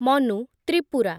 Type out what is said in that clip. Manu, Tripura